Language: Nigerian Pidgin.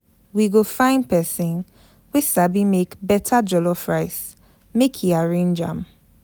We go find pesin wey sabi make beta jollof rice make e arrange am.